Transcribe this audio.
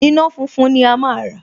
Iná funfun ni a máa rà